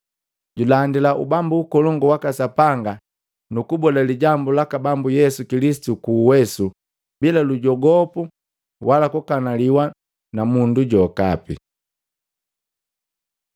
Julandila Ubambu Ukolongu waka Sapanga nu kubola lijambu laka Bambu Yesu Kilisitu ku uwesu, bila lujogopu wala kukanaliwa na mundu jokapi.